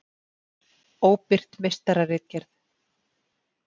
Óbirt meistararitgerð.